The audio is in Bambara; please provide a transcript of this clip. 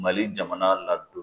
Mali jamana ladon